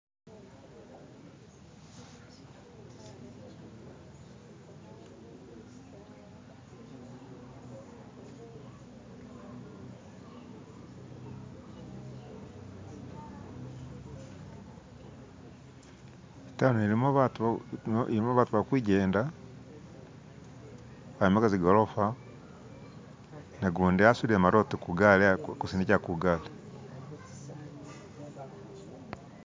itawuni yene ilimu batu balikujenda bombaka zigolofa nagundi asudile marote kugali alikusindikila kugali